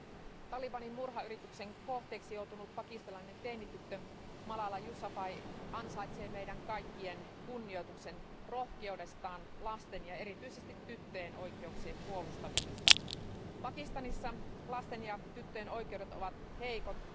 Arvoisa puhemies, talibanin murhayrityksen kohteeksi joutunut pakistanilainen teinityttö Malala Yousafzai ansaitsee meidän kaikkien kunnioituksen rohkeudestaan lasten ja erityisesti tyttöjen oikeuksien puolustamisessa. Pakistanissa lasten ja tyttöjen oikeudet ovat heikot.